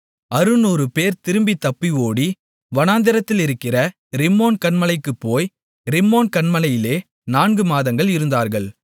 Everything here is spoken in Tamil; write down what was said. அறுநூறுபேர் திரும்பி தப்பி ஓடி வனாந்திரத்திலிருக்கிற ரிம்மோன் கன்மலைக்குப் போய் ரிம்மோன் கன்மலையிலே நான்கு மாதங்கள் இருந்தார்கள்